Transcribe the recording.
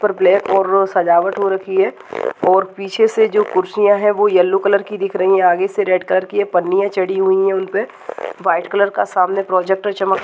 ऊपर ब्लैक और सजावट हो रखी है और पीछे से जो कुर्सियां है वो येलो कलर की दिख रही है आगे से रेड कलर की है पन्नियां चढ़ी हुई है उनपे व्हाइट कलर का सामने प्रोजेक्टर चमक --